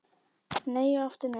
Nei og aftur nei